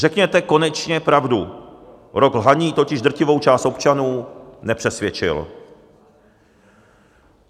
Řekněte konečně pravdu - rok lhaní totiž drtivou část občanů nepřesvědčil.